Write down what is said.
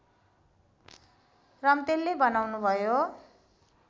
रम्तेलले बताउनुभयो